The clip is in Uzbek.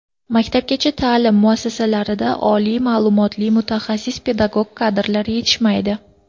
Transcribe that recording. Maktabgacha ta’lim muassasalarida oliy ma’lumotli mutaxassis pedagog kadrlar yetishmaydi.